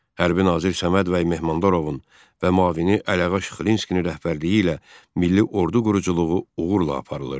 Hərbi nazir Səməd bəy Mehmandarovun və müavini Əliağa Şıxlinskinin rəhbərliyi ilə milli ordu quruculuğu uğurla aparılırdı.